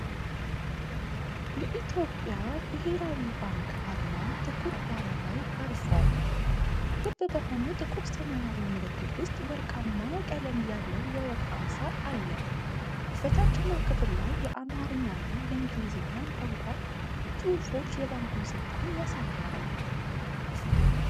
የኢትዮጵያ ብሔራዊ ባንክ አርማ ጥቁር ዳራ ላይ አርፏል። ክብ በሆነው ጥቁር ሰማያዊ ምልክት ውስጥ ወርቃማ ቀለም ያለው የወፍ አምሳል አለ። በታችኛው ክፍል ላይ የአማርኛና የእንግሊዝኛ ቋንቋ ጽሑፎች የባንኩን ሥልጣን ያሳያሉ።